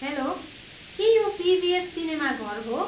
Hello, के यो PVS सिनेमाघर हो?